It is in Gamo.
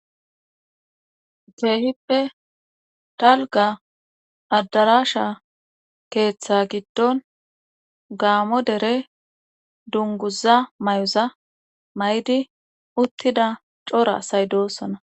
geehippe talga addarasha keeththa giddon gaamo dere dunguza may7uza may7di uttida cora say doosona